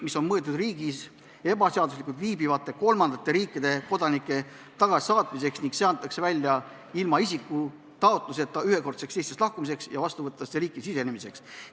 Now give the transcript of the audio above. See on mõeldud riigis ebaseaduslikult viibivate kolmandate riikide kodanike tagasisaatmiseks, see antakse välja ilma isiku taotluseta, ühekordseks Eestist lahkumiseks ja vastuvõtvasse riiki sisenemiseks.